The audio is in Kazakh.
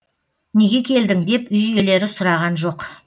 неге келдің деп үй иелері сұраған жоқ